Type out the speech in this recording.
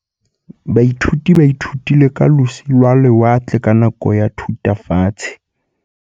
Baithuti ba ithutile ka losi lwa lewatle ka nako ya Thutafatshe.